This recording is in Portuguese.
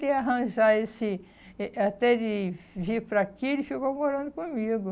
Até ele arranjar esse... Eh até ele vir para aqui, ele ficou morando comigo.